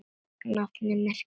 Nafnið merkir spjót.